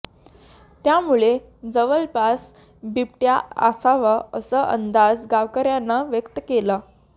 त्यामुळे जवळपास बिबट्या असावा असा अंदाज गावकऱ्यांना व्यक्त केला